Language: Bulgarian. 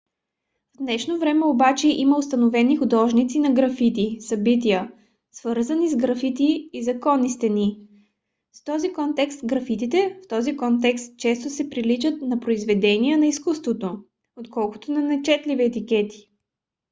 в днешно време обаче има установени художници на графити събития свързани с графити и законни стени. в този контекст графитите в този контекст често приличат на произведения на изкуството отколкото на нечетливи етикети